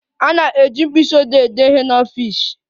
A na-eji mkpisiodee ede ihe n'ọfịs.